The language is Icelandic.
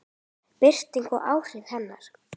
Birting og áhrif hennar.